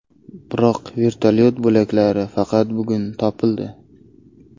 Biroq vertolyot bo‘laklari faqat bugun topildi.